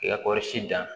I ka kɔɔri si dan